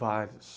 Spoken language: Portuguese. Vários.